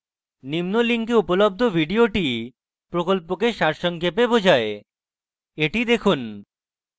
নিম্ন link উপলব্ধ video প্রকল্পকে সারসংক্ষেপে বোঝায় the দেখুন